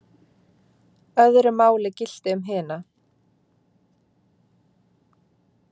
Öðru máli gilti um hina.